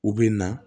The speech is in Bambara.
U bɛ na